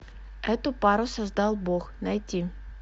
эту пару создал бог найти